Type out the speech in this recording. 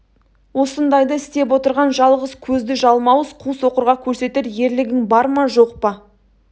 осындайды істеп отырған жалғыз көзді жалмауыз қу соқырға көрсетер ерлігің бар ма жоқ па